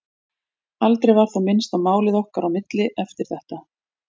Aldrei var þó minnst á málið okkar á milli eftir þetta.